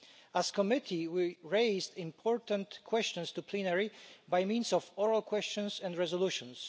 As a committee we raised important questions to plenary by means of oral questions and resolutions.